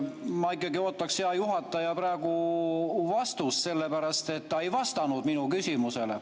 Ma ikkagi ootan, hea juhataja, praegu vastust, sellepärast et te ei vastanud minu küsimusele.